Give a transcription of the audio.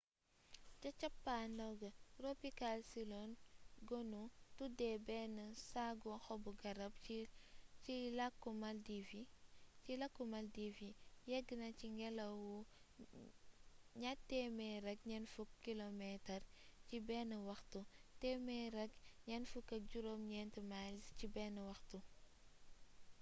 ci cappandaw ga tropical cyclone gonu tuddé bénn saggu xobu garab ci lakku maldives yi yéggna ci ngélaw wu 240 kilometers ci bénn waxtu 149 miles ci bénn waxtu